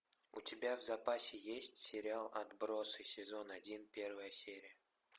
у тебя в запасе есть сериал отбросы сезон один первая серия